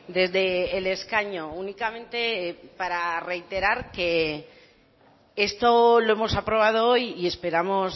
desde el escaño únicamente para reiterar que esto lo hemos aprobado hoy y esperamos